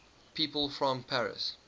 people from paris